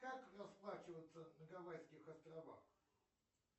как расплачиваться на гавайских островах